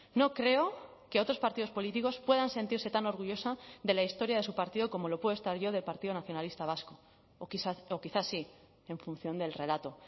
no creo que otros partidos políticos puedan sentirse tan orgullosa de la historia de su partido como lo puedo estar yo del partido nacionalista vasco o quizá sí en función del relato